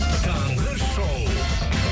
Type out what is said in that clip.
таңғы шоу